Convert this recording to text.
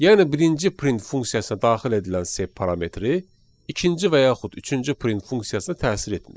Yəni birinci print funksiyasına daxil edilən sep parametri ikinci və yaxud üçüncü print funksiyasına təsir etmir.